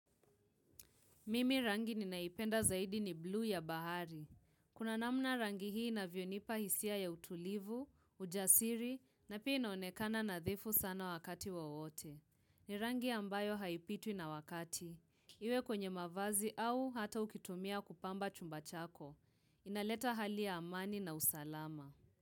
Mimi rangi ninaipenda zaidi, ni bluu ya bahari. Kuna namna rangi hii inavyonipa hisia ya utulivu, ujasiri, na pia inaonekana nadhifu sana wakati wowote. Ni rangi ambayo haipitwi na wakati. Iwe kwenye mavazi au hata ukitumia kupamba chumba chako. Inaleta hali ya amani na usalama.